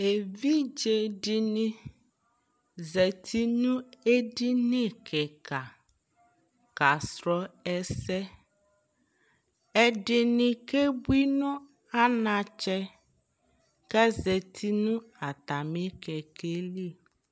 evidze di ni zati no edini keka kasrɔ ɛsɛ ɛdini ke bui no anatsɛ k'azati no atami kɛkɛ li